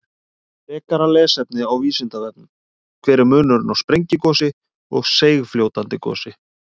Frekara lesefni á Vísindavefnum: Hver er munurinn á sprengigosi og seigfljótandi gosi?